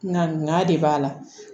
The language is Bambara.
Na de b'a la